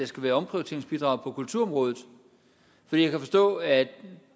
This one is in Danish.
skal være omprioriteringsbidrag på kulturområdet for jeg kan forstå at